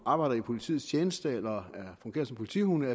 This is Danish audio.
arbejder i politiets tjeneste eller fungerer som politihunde